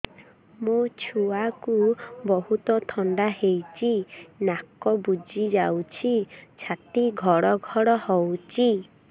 ମୋ ଛୁଆକୁ ବହୁତ ଥଣ୍ଡା ହେଇଚି ନାକ ବୁଜି ଯାଉଛି ଛାତି ଘଡ ଘଡ ହଉଚି